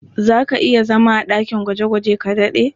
Za ka iya zama a ɗakin gwaje-gwaje ka daɗe?